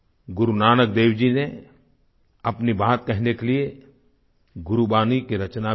गुरु नानक देव जी ने अपनी बात कहने के लिए गुरबाणी की रचना भी की